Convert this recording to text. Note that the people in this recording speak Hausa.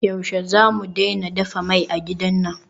Yaushe zamu daina dafa mai a gidan nan?